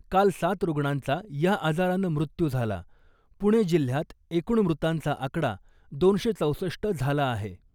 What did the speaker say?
काल सात रुग्णांचा या आजारानं मृत्यू झाला , पुणे जिल्ह्यात एकूण मृतांचा आकडा दोनशे चौसष्ट झाला आहे .